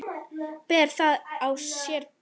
Ber það á sér delinn.